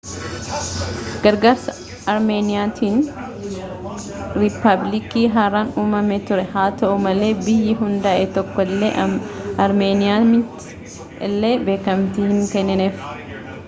gargaarsa armeeniyaatin riippaabilikii haraan uumamee ture haa ta'u malee biyyi hundaa'e tokko illee armeeniyaamti illee beekamtii hin kennineef